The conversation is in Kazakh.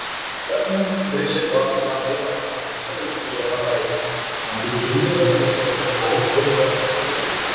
бірақ мен бірінші рет бардым жаңағыдай айттым осылай осылай мен дін жолына қарай ы беттегім келіп жатыр мен сол жақта бір ғылым ғылым жолымен айналысқым келеді